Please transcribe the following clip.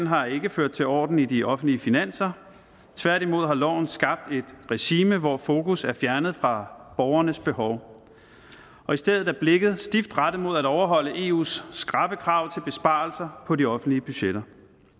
har ikke ført til orden i de offentlige finanser tværtimod har loven skabt et regime hvor fokus er fjernet fra borgernes behov og i stedet er blikket stift rettet mod at overholde eus skrappe krav om besparelser på de offentlige budgetter